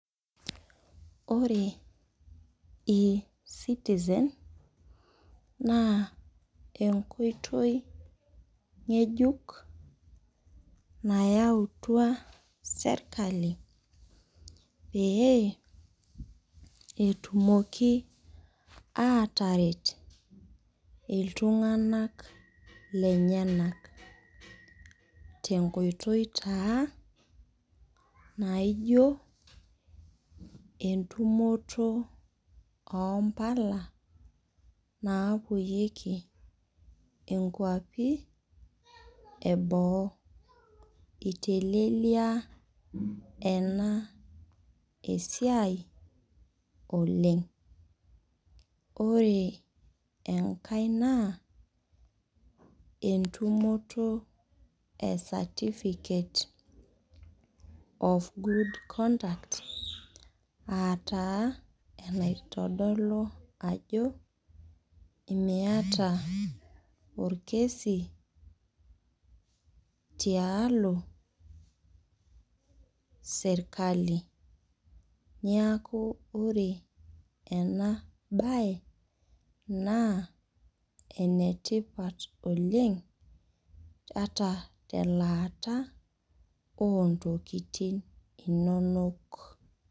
Ore Ecitizen naa enkoitoi ngejuk nayautua serkali peyie etumoki aataret iltunganak lenyanak, tenkoitoi taa naijo entumoto oo mpala naapueyieki nkuapi eboo. Eitelelia ena esia oleng. Ore enkai naa entumoto e satipikate of good conduct aataa eitodolu ajo imiata enkaruasho tialo serkali. Niaku ore ena bae naa enetipat oleng ata telaata oontokitin inonok